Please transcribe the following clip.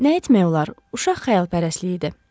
Nə etmək olar, uşaq xəyalpərəstliyi idi.